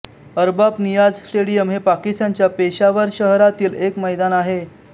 Arbab Niaz stadium हे एक पाकिस्तानच्या पेशावर शहरातील एक मैदान आहे